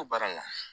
Ko baara la